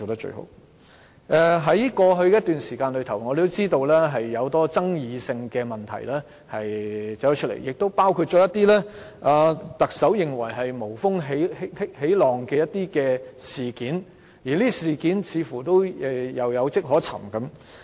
在過去一段時間有很多具爭議的問題出現，亦包括一些特首認為是"無風起浪"的事件出現，而這些事件似乎是有跡可尋的。